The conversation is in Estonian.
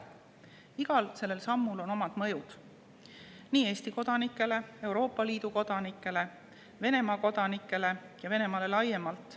Igal sellel sammul on omad mõjud nii Eesti kodanikele, Euroopa Liidu kodanikele kui ka Venemaa kodanikele ja Venemaale laiemalt.